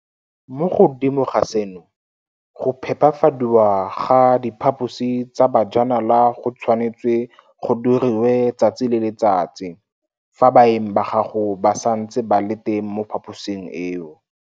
Mo godimo ga seno, go phepafadiwa ga diphaposi tsa bajanala go tshwanetswe go diriwe letsatsi le letsatsi fa baeng ba gago ba santse ba le teng mo phaposing eo.